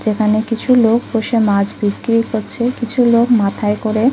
যেখানে কিছু লোক বসে মাছ বিক্রি করছে কিছু লোক মাথায় করে।